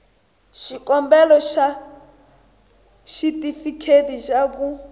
xikombelo xa xitifiketi xa ku